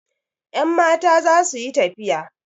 Yanmata za su yi tafiya.